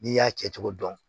N'i y'a kɛ cogo dɔn